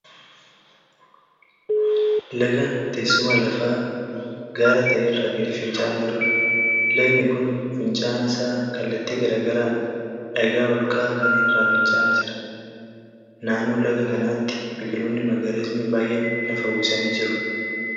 Lagan teessuma lafaa gaara ta'e irraa gadi finca'aa jiruudha. Lagni kun finca'aan isaa kallatti garaa garaan dhagaa ol ka'aa kana irraa finca'aa jira. Naannoo laga kanaati biqiloonni magariisni baay'een lafa uwwisanii jiru.